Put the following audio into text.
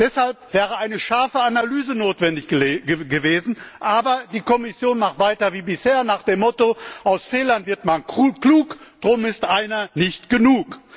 Deshalb wäre eine scharfe Analyse notwendig gewesen, aber die Kommission macht weiter wie bisher nach dem Motto Aus Fehlern wird man klug, drum ist einer nicht genug.